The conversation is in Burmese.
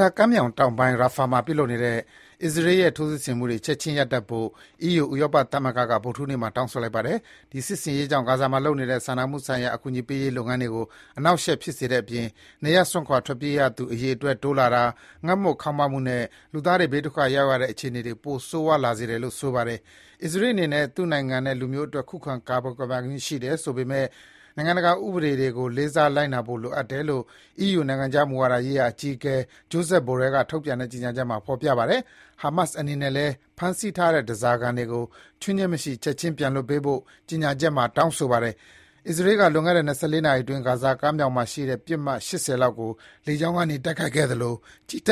ဇာကမ်းမြောင်တောင်ပိုင်း Rafah မှာ ပြုလုပ်နေတဲ့ အစ္စရေးရဲ့ ထိုးစစ်ဆင်မှုတွေ ချက်ခြင်း ရပ်တန့်ဖို့ EU ဥရောပသမဂ္ဂက ဗုဒ္ဓဟူးနေ့မှာ တောင်းဆိုလိုက်ပါတယ်။ ဒီစစ်ဆင်ရေးကြောင့် ဂါဇာမှာလုပ်နေတဲ့ စာနာမှုဆိုင်ရာ အကူအညီပေးရေးလုပ်ငန်းတွေကို အနှောက်အယှက် ဖြစ်စေတဲ့အပြင် နေရပ်စွန့်ခွာ ထွက်ပြေးရသူ အရေအတွက် တိုးလာတာ၊ ငတ်မွတ်ခေါင်းပါးမှုနဲ့ လူသားတွေ ဘေးဒုက္ခရောက်ရတဲ့ အခြေအနေတွေ ပိုပြီး ဆိုးရွားလာစေတယ်လို့ ဆိုပါတယ်။ အစ္စရေးအနေနဲ့ သူ့နိုင်ငံနဲ့ လူမျိုးအတွက် ခုခံကာကွယ်ပိုင်ခွင့်ရှိတယ်ဆိုပေမယ့် နိုင်ငံတကာ ဥပဒေတွေကို လေးစား လိုက်နာဖို့လိုအတယ်လို့ အီးယူ နိုင်ငံခြားမူဝါဒရေးရာအကြီးအကဲ Josep Borrell က ထုတ်ပြန်တဲ့ ကြေညာချက်မှာ ဖော်ပြထားပါတယ်။ ဟာမတ်စ်အနေနဲ့လည်း ဖမ်းဆီးထားတဲ့ ဓားစာခံတွေကို ချွင်းချက်မရှိ ချက်ခြင်းပြန်လွှတ်ပေးဖို့ ကြေညာချက်မှာ တောင်းဆိုထားပါတယ်။ အစ္စရေးက လွန်ခဲ့တဲ့ ၂၄ နာရီအတွင်း ဂါဇာကမ်းမြောင်မှာရှိတဲ့ ပစ်မှတ် ၈၀ လောက်ကို လေကြောင်းကနေ တိုက်ခိုက်ခဲ့သလို ကြည်းတ